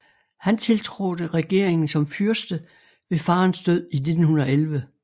Han tiltrådte regeringen som fyrste ved faderens død i 1911